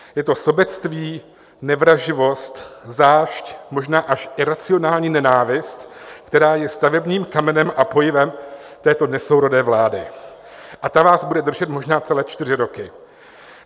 Je to sobectví, nevraživost, zášť, možná až iracionální nenávist, která je stavebním kamenem a pojivem této nesourodé vlády, a ta vás bude držet možná celé čtyři roky.